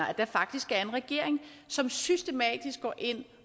at der faktisk er en regering som systematisk går ind